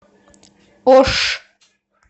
ош